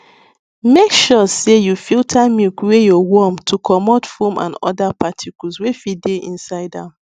make sure sey you filter milk wey yo warm to comot foam and other particles wey fit dey inside am